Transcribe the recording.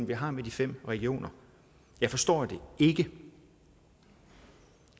vi har med de fem regioner jeg forstår det ikke